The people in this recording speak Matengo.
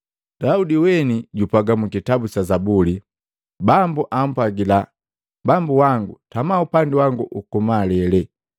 Daudi weni jupwaga mu kitabu sa Zabuli, ‘Bambu ampwagila bambu wangu. Tama upandi wangu ukumalele,